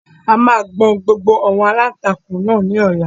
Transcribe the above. A máa gbọn gbogbo àwọn aláǹtakùn náà ní ọ̀la